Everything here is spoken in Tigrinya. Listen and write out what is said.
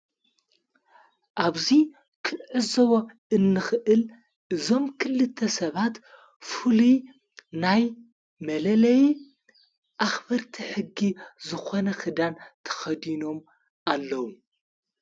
ኣብዙይ ክንዕዝቦ እንኽእል ዞም ክልተ ሰባት ፉሉ ናይ መለለይ ኣኽበርቲ ሕጊ ዝኾነ ኽዳን ተኸዲኖም ኣለዉ።